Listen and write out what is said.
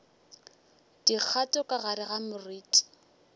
dikgato ka gare ga moriti